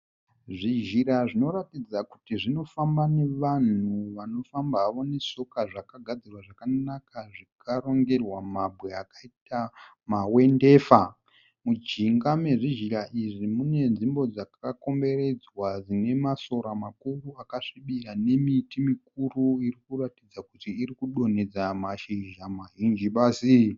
Zvizhira zvinoratidza kuti zvinofamba vanhu vanofamba havo neshoka zvakagadzirwa zvakanaka zvakarongerwa mabwe akaita mawendefa. Mujinga mezvizhira izvi munenzvimbo dzakakomberedzwa dzinemasora makuru akasvibira nemiti mikuru irikuratidza kuti irikudonhedza mashizha mazhinji pasi.